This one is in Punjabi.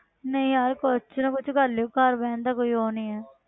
ਨਹੀਂ ਯਾਰ ਕੁਛ ਨਾ ਕੁਛ ਕਰ ਲਇਓ ਘਰ ਬਹਿਣ ਦਾ ਕੋਈ ਉਹ ਨਹੀਂ ਹੈ।